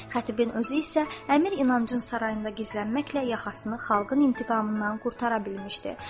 Xətibin özü isə Əmir İnancın sarayında gizlənməklə yaxasını xalqın intiqamından qurtara bilmişdi.